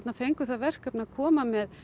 fengu það verkefni að koma með